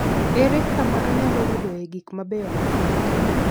Ere kama anyalo yudoe gik mabeyo mag ot?